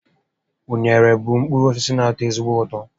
Unere bụ mkpụrụ osisi na ato ezigbo ụtọ